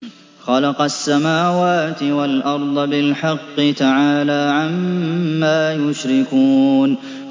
خَلَقَ السَّمَاوَاتِ وَالْأَرْضَ بِالْحَقِّ ۚ تَعَالَىٰ عَمَّا يُشْرِكُونَ